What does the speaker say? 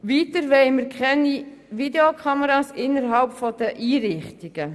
Weiter wollen wir keine Videokameras innerhalb der Einrichtungen.